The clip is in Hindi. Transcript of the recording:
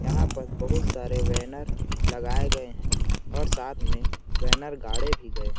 यहाँ पर बहुत सारे बैनर लगाए गए हैं और साथ में बैनर गाड़े भी गए हैं।